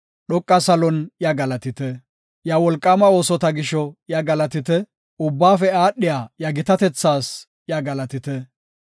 Iya wolqaama oosota gisho iya galatite; ubbaafe aadhiya iya gitatethaas iya galatite.